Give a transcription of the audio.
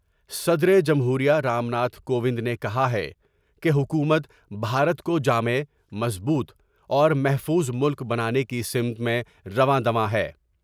صدر جمہور یہ رام ناتھ کووند نے کہا ہے کہ حکومت بھارت کو جامع ، مضبوط اور محفوظ ملک بنانے کی سمت رواں ں دواں ہیں ۔